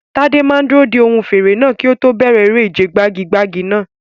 Tade máa dúró de ohùn fèrè náà kí ó tó bẹ̀rẹ̀ eré ìje gbagi-gbagi náà.